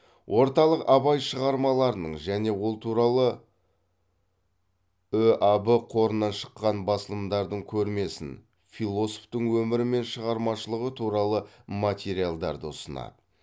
орталық абай шығармаларының және ол туралы ұаб қорынан шыққан басылымдардың көрмесін философтың өмірі мен шығармашылығы туралы материалдарды ұсынады